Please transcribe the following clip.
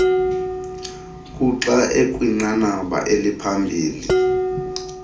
kuxa ekwinqanaba eliphambili